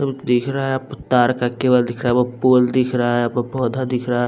दिख रहा है पुत्तार का केबल दिख रहा है व पोल दिख रहा है आपको पौधा दिख रहा है।